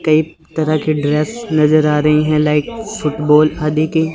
की तरह के ड्रेस नजर आ रहे है लाइट फूटबाल आदि के--